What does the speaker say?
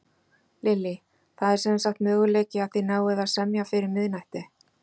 Lillý: Það sem sagt er möguleiki að þið náið að semja fyrir miðnætti?